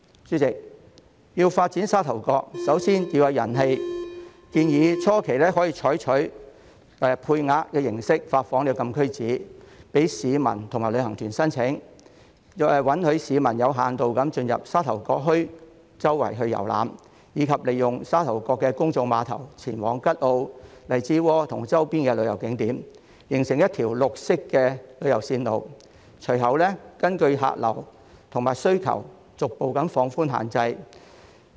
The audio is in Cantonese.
主席，要發展沙頭角，首先要有人氣，建議初期可以採取配額形式發放禁區紙，供市民和旅行團申請，允許市民有限度進入沙頭角墟四處遊覽，以及利用沙頭角的公眾碼頭前往吉澳、荔枝窩和周邊旅遊景點，形成一條綠色旅遊線路，日後可根據客流和需求逐步放寬限制。